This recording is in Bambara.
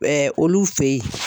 olu fɛ ye.